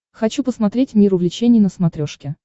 хочу посмотреть мир увлечений на смотрешке